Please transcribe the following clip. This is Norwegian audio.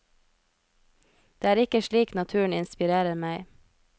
Det er ikke slik naturen inspirerer meg.